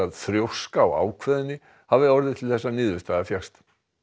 þrjóska og ákveðni hafi orðið til þess að niðurstaða fékkst